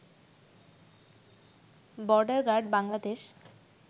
border guard Bangladesh